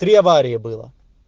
три аварии было